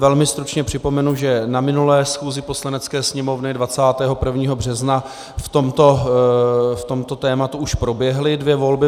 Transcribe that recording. Velmi stručně připomenu, že na minulé schůzi Poslanecké sněmovny 21. března k tomuto tématu už proběhly dvě volby.